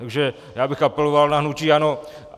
Takže já bych apeloval na hnutí ANO.